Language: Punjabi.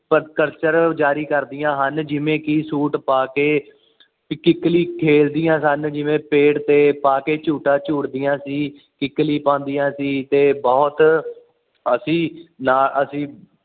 ਪ੍ਰਦਰਸ਼ਨ ਜਾਰੀ ਕਰਦੀਆਂ ਹਨ ਜਿਵੇਂ ਕਿ ਸੂਟ ਪਾ ਕੇ ਕਿੱਕਲੀ ਖੇਡਦੀਆਂ ਸਨ ਜਿਵੇਂ ਪੇੜ ਤੇ ਪਾਕੇ ਛੂਟਾ ਛੁਟਦੀਆਂ ਸੀ ਕਿੱਕਲੀ ਪਾਉਂਦੀਆਂ ਸੀ ਤੇ ਬੁਹਤ ਅਸੀਂ ਨਾ ਅਸੀਂ